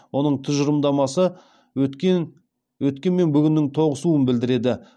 оның тұжырымдамасы өткен мен бүгіннің тоғысуын білдіреді